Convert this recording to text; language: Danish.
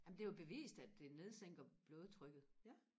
amen det er jo bevist at det nedsænker blodtrykket